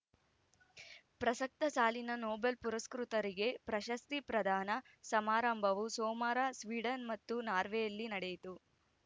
ಪ್ರಸಕ್ತ ಸಾಲಿನ ನೊಬೆಲ್‌ ಪುರಸ್ಕೃತರಿಗೆ ಸ್ವೀಡನ್‌ ನಾರ್ವೆಯಲ್ಲಿ ಪ್ರಶಸ್ತಿ ಪ್ರದಾನ ಓಸ್ಲೋ ಪ್ರಸಕ್ತ ಸಾಲಿನ ನೊಬೆಲ್‌ ಪುರಸ್ಕೃತರಿಗೆ ಪ್ರಶಸ್ತಿ ಪ್ರದಾನ ಸಮಾರಂಭವು ಸೋಮವಾರ ಸ್ವೀಡನ್‌ ಮತ್ತು ನಾರ್ವೆಯಲ್ಲಿ ನಡೆಯಿತು